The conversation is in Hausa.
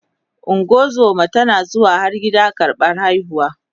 ungozuma tana zuwa har gida karɓan haihuwa